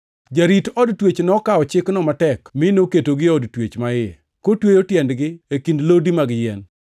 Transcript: Jarit od twech nokawo chikno matek mi noketogi ei od twech maiye, kotweyo tiendegi e kind lodi mag yien.